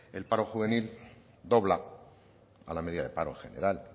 el paro juvenil dobla a la media de paro general